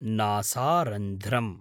नासारन्ध्रम्